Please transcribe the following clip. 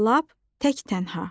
Lap tək-tənha.